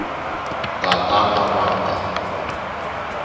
nga ta ka va nga